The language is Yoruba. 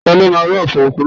Ta ló máa rọ́ ọfọ̀ òkú náà.?